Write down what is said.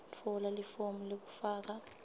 tfola lifomu lekufaka